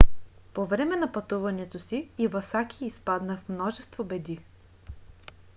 по време на пътуването си ивасаки изпадна в множество беди